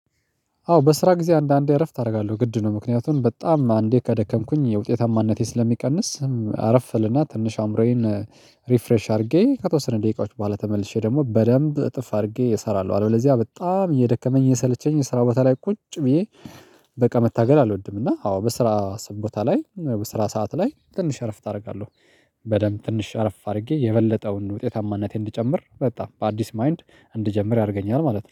አዎ በስራ ጊዜ አንዳንዴ እረፍት አደርጋለሁ ግድ ነው ምክንያቱም በጣም አንዴ ከደከምኩኝ የውጤታማነቴ ስለሚቀንስ አረፍልና ትንሽ አምሮዬን ሪፍሬሽ አድርጌ ከተወሰነ ደቂቃዎች በኋላ ተመልሼ ደግሞ በደንብ እጥፍ አድርጌ እሰራለሁ አለው ለዚያ በጣም እየደከመኝ እየሰለቸኝ የስራ ቦታ ላይ ቁጭ ብዬ በቃ መታገል አልወድም። እና አዎ በስራ ቦታ ላይ በስራ ሰዓት ላይ ትንሽ እረፍት አደርጋለሁ። በደንብ ትንሽ እረፍ አድርጌ የበለጠውን ውጤታማነቴን እንድጨምር በጣም በአዲስ ማይንድ እንድጀምር ያደርገኛል ማለት ነው